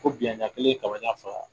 Ko biɲɛnda kelen kaba ɲɛn filaa